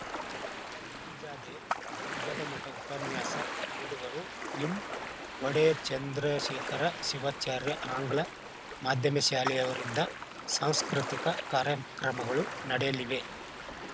ಗಿರಿಜಾದೇ ದುರ್ಗದಮಠ ಉಪನ್ಯಾಸ ನೀಡುವರು ಲಿಂಒಡೆಯರ್‌ ಚಂದ್ರಶೇಖರ ಶಿವಾಚಾರ್ಯ ಆಂಗ್ಲ ಮಾಧ್ಯಮ ಶಾಲೆಯವರಿಂದ ಸಾಂಸ್ಕೃತಿಕ ಕಾರ್ಯಕ್ರಮಗಳು ನಡೆಯಲಿವೆ